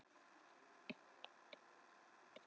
Ég er varla farin að átta mig á þessu enn.